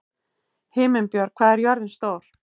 Himinbjörg, hvað er jörðin stór?